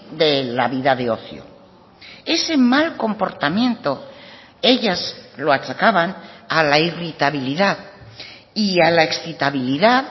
de la vida de ocio ese mal comportamiento ellas lo achacaban a la irritabilidad y a la excitabilidad